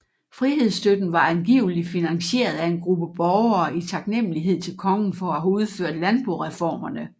Frihedsstøtten var angiveligt finansieret af en gruppe borgere i taknemmelighed til kongen for at have udført landboreformerne